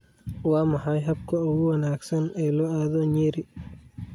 Waa maxay habka ugu wanaagsan ee loo aado Nyeri?